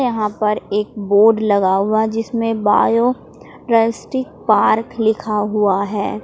यहां पर एक बोर्ड लगा हुआ जिसमें बायो ड्रायस्टी पार्क लिखा हुआ है।